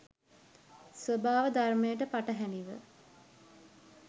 ස්වභාව ධර්මයට පටහැනිව